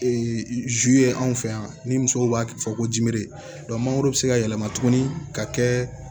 ye anw fɛ yan ni musow b'a fɔ ko mangoro be se ka yɛlɛma tuguni ka kɛ